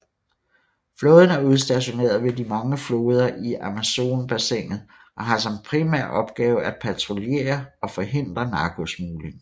Flåden er udstationeret ved de mange floder i Amazonbassinet og har som primær opgave at patruljere og forhindre narkosmugling